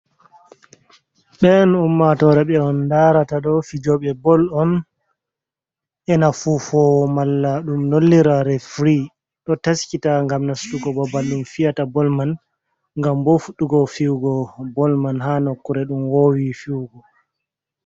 Ɓe'en ummatore ɓe on ndarata ɗo fijooɓe bol on, e na fufowo, malla ɗum nollira refri, ɗo taskita ngam nastugo babal ɗum fiyata bol man. Ngam bo fuɗɗugo fi'ugo bol man ha nokkure ɗum woowi fiyugo.